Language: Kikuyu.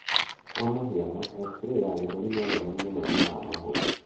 Kwa mũhiano xray ya gĩthũri no yone mũrimũ wa mahũri.